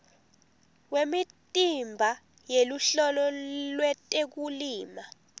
wemitimba yeluhlolo lwetekulima